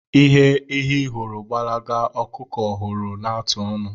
Ihe ehi hụrụ gbalaga ka ọkụkọ hụrụ na-atụ onu.